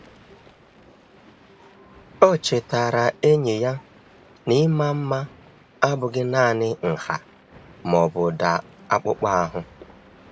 Ọ chetaara enyi ya na ịma mma abụghị naanị nha ma ọ bụ ụda akpụkpọ ahụ.